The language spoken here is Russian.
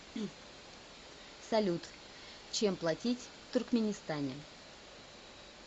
салют чем платить в туркменистане